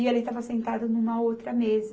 E ele estava sentado numa outra mesa.